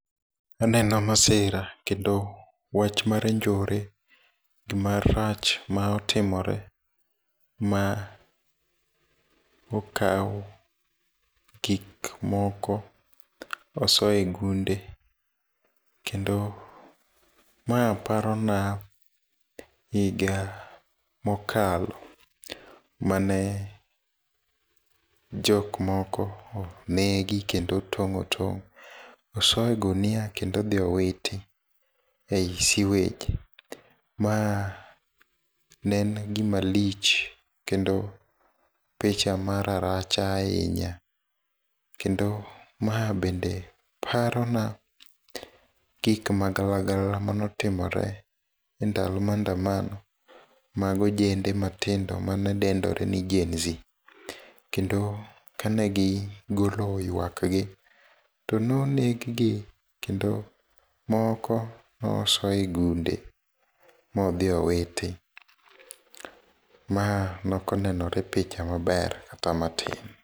Aneno masira kendo wach mar njore, gimarach ma otimore ma okawo gik moko osoyo e gunde. Kendo ma parona higa mokalo mane jok moko onegi kendo otong' otong', oso e gunia kendo odhi owiti e siwej. Ma nen gima lich kendo picha ma raracha ahinya. Kendo ma bende paro na gik ma galagala manotimore e ndalo maandamano mag ojende matindo mane dendore ni Gen Z. Kendo kane gi golo ywak gi, to noneg gi kendo moko noso e gunde modhi owiti. Ma nokonenore picha maber kata matin.